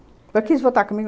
Mas quis voltar comigo